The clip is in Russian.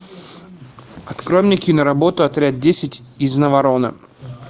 открой мне киноработу отряд десять из наварона